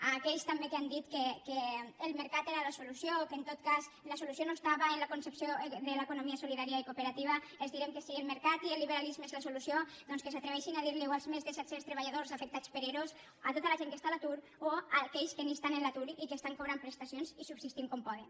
a aquells que també han dit que el mercat era la solució que en tot cas la solució no estava en la concepció de l’economia solidària i cooperativa els direm que si el mercat i el liberalisme són la solució doncs que s’atreveixin a dir los ho als més de set cents treballadors afectats per ero a tota la gent que està a l’atur o a aquells que ni estan en l’atur i que estan cobrant prestacions i subsistint com poden